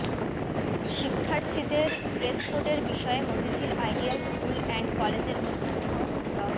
শিক্ষার্থীদের ড্রেসকোডের বিষয়ে মতিঝিল আইডিয়াল স্কুল এন্ড কলেজের অধ্যক্ষ ড